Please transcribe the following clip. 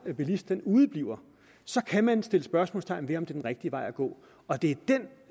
bilist udebliver så kan man sætte spørgsmålstegn ved om det er en rigtig vej at gå og det